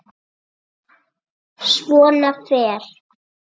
Svona fer.